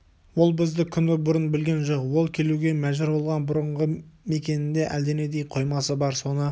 ол бізді күні бұрын білген жоқ ол келуге мәжбүр болған бұрынғы мекенінде әлденендей қоймасы бар соны